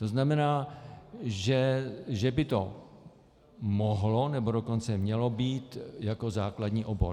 To znamená, že by to mohlo, nebo dokonce mělo být jako základní obor.